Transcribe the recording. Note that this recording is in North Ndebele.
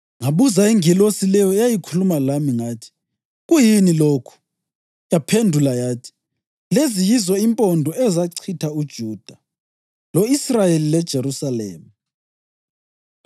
Ngabuza ingilosi leyo eyayikhuluma lami, ngathi, “Kuyini lokhu?” Yaphendula yathi, “Lezi yizo impondo ezachitha uJuda, lo-Israyeli leJerusalema.”